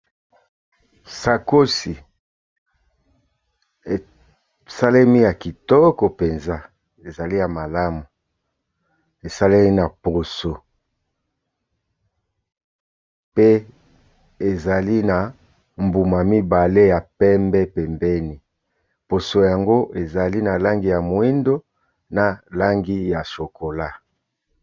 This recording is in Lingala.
Sakosi esalemi ya kitoko mpenza ezali ya malamu, esalemi na poso pe ezali na mbuma mibale ya pembe pembeni. Poso yango ezali na langi ya moyindo, na langi ya chokolat.